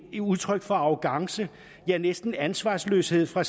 et udtryk for arrogance ja næsten ansvarsløshed fra